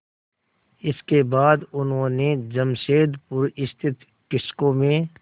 इसके बाद उन्होंने जमशेदपुर स्थित टिस्को में